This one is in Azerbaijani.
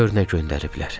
Gör nə göndəriblər?